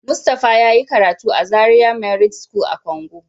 Mustapha yayi karatu a Zaria merit school a Kongo.